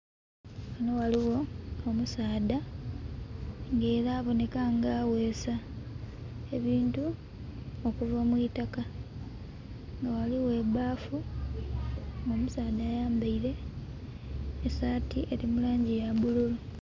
Ghano ghaligho omusaadha nga era aboneka nga agheesa ebintu okuva mu itaka, nga ghaligho ebbafu. Nga omusaadha ayambeire esati eri mu langi ya bululu.